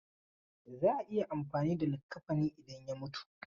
Za a yi amfani da likaffani idan ya mutu.